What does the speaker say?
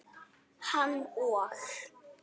Hann og